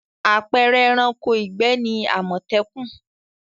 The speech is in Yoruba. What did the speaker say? Àpẹẹrẹ ẹranko ìgbẹ́ ni àmọ̀tẹ́kùn.